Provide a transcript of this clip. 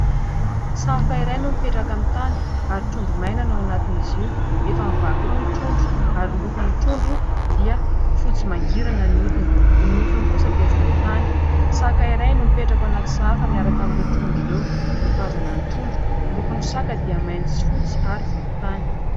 Sahafa iray no mipetraka amin'ny tany ary trondro maina ao anatiny izy io. Efa mivaky roa ny trondro ary ny lokon'ny trondro dia fotsy mangirana ny odiny. Ny nofiny kosa dia volon-tany. Saka iray no mipetraka eo anaty sahafa miaraka amin'ireo trondro ireo, mitazana ny trondro. Lokon'ny saka dia mainty sy fotsy ary volon-tany.